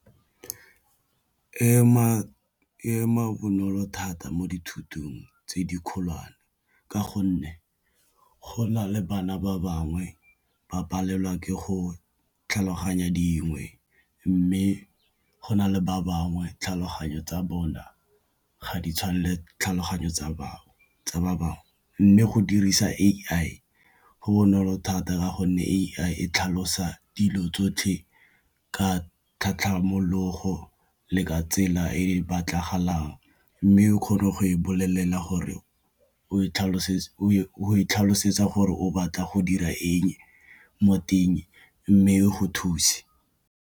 E ema bonolo thata mo dithutong tse di kgolwane ka gonne go na le bana ba bangwe ba palelwa ke go tlhaloganya dingwe, mme go na le ba bangwe tlhaloganyo tsa bona ga di tshwane le tlhaloganyo tsa ba bangwe. Mme go dirisa A_I go bonolo thata gonne A_I e tlhalosa dilo tsotlhe ka tlhatlhamologo le ka tsela e batlagalang, mme o kgone go e bolelela gore o e tlhalosetsa gore o batla go dira eng mo teng mme o go thuse.